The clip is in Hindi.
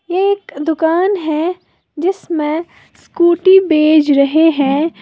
ये एक दुकान है जिसमें स्कूटी बेज रहे हैं।